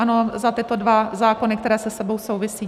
Ano, za tyto dva zákony, které se sebou souvisí.